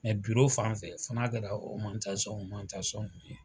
Mɛ biro fan fɛ fɔ n'a kɛra ye.